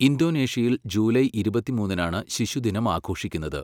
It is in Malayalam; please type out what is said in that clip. ഇന്തോനേഷ്യയിൽ ജൂലൈ ഇരുപത്തിമൂന്നിനാണ് ശിശുദിനം ആഘോഷിക്കുന്നത്.